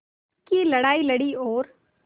की लड़ाई लड़ी और